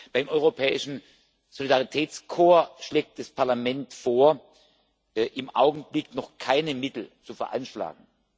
Beim Europäischen Solidaritätskorps schlägt das Parlament vor, im Augenblick noch keine Mittel zu veranschlagen.